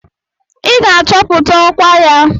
I ga-achọpụta ọkwa ya!